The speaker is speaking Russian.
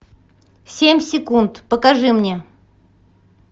семь секунд покажи мне